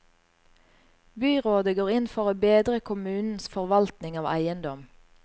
Byrådet går inn for å bedre kommunens forvaltning av eiendom.